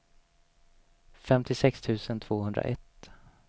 femtiosex tusen tvåhundraett